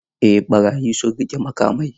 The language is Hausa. Eh barayi sun riƙe makamai.